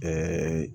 Ɛɛ